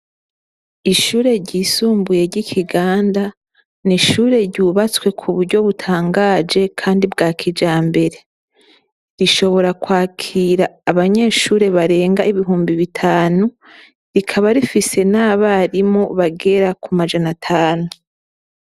Ishure ry'isumbuye ry'Ikiganda, ni ishure ryubatswe kuburyo butangaje kandi bwa kijambere. Rishobora kwakira Abanyeshure barenga Ibihumbi Bitanu, rikaba rifise n'Abarimu bagera kumajana atanu.